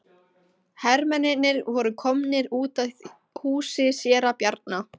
Hermennirnir voru komnir út að húsi séra Bjarna.